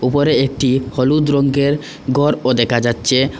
উপরে একটি হলুদ রঙ্গের ঘরও দেখা যাচ্ছে।